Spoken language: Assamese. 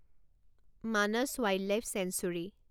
Manas wildlife sanctuary